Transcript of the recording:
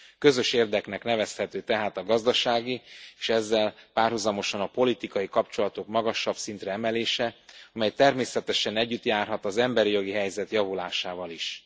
Közös érdeknek nevezhető tehát a gazdasági és ezzel párhuzamosan a politikai kapcsolatok magasabb szintre emelése, amely természetesen együtt járhat az emberi jogi helyzet javulásával is.